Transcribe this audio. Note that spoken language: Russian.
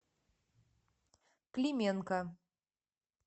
клименко